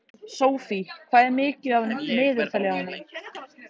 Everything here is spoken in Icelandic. Sophie, hvað er mikið eftir af niðurteljaranum?